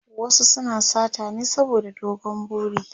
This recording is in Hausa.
wasu suna sata ne saboda dogon buri